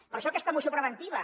per això aquesta moció preventiva